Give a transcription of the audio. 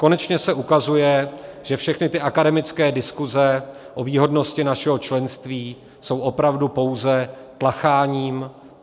Konečně se ukazuje, že všechny ty akademické diskuse o výhodnosti našeho členství jsou opravdu pouze tlacháním.